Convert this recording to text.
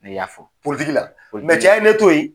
Ne y'a fɔ. la. cɛ ye ne to ye